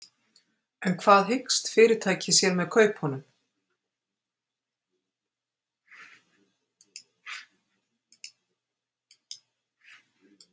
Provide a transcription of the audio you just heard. En hvað hyggst fyrirtækið sér með kaupunum?